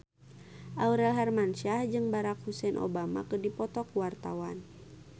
Aurel Hermansyah jeung Barack Hussein Obama keur dipoto ku wartawan